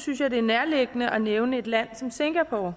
synes jeg det er nærliggende at nævne et land som singapore